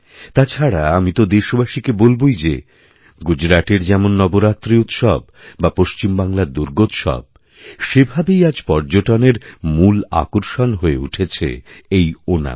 তাছাড়া আমি তো দেশবাসীকে বলবই যে গুজরাটের যেমন নবরাত্রি উৎসব বা পশ্চিমবাংলারদুর্গোৎসব সেভাবেই আজ পর্যটনের মূল আকর্ষণ হয়ে উঠেছে এই ওনাম